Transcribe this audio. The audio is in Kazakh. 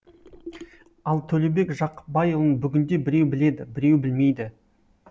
ал төлеубек жақыпбайұлын бүгінде біреу біледі біреу білмейді